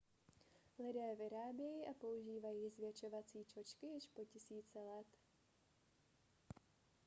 lidé vyrábějí a používají zvětšovací čočky již po tisíce let